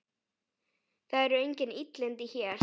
Það eru engin illindi hér.